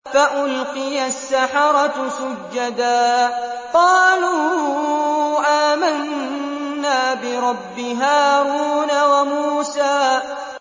فَأُلْقِيَ السَّحَرَةُ سُجَّدًا قَالُوا آمَنَّا بِرَبِّ هَارُونَ وَمُوسَىٰ